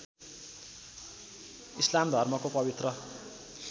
इस्लाम धर्मको पवित्र